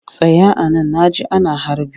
Tsaya a nan na ji ana harbi!